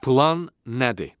Plan nədir?